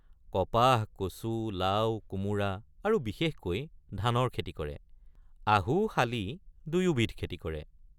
কপাহ কচু লাও কোমোৰা আৰু বিশেষকৈ ধানৰ খেতি কৰে ৷ আহু শালি দুয়োবিধ খেতি কৰে।